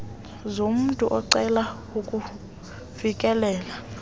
zomntu ocela ukufikelela